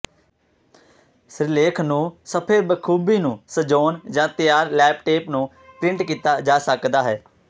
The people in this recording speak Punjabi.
ਸਿਰਲੇਖ ਨੂੰ ਸਫ਼ੇ ਬਖੂਬੀ ਨੂੰ ਸਜਾਉਣ ਜ ਤਿਆਰ ਟੈਪਲੇਟ ਨੂੰ ਪ੍ਰਿੰਟ ਕੀਤਾ ਜਾ ਸਕਦਾ ਹੈ